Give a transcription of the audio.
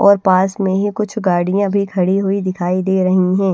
और पास में ही कुछ गाड़ियां भी खड़ी हुई दिखाई दे रही हैं।